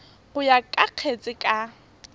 go ya ka kgetse ka